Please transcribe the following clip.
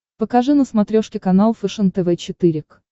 покажи на смотрешке канал фэшен тв четыре к